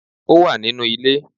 Ó wà nínú ilé